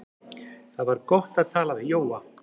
Það var gott að tala við Jóa.